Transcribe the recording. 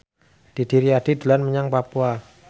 Didi Riyadi dolan menyang Papua